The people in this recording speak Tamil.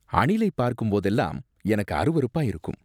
அணிலை பார்க்கும் போதெல்லாம் எனக்கு அருவருப்பா இருக்கும்.